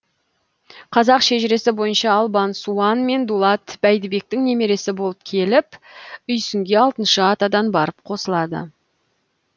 қазақ шежіресі бойынша албан суан мен дулат бәйдібектің немересі болып келіп үйсінге алтыншы атадан барып қосылады